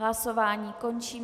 Hlasování končím.